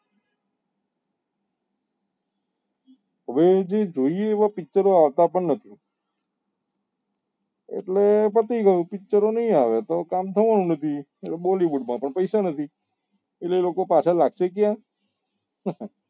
હવે જે જોઈએ એવા picture ઓ આવતા પણ નથી એટલે પતી ગયું picture નહિ આવે તો કામ થવા નું નથી અને bollywood માં તો પૈસા નથી હવે એ લોકો પાછા લાગશે ક્યા?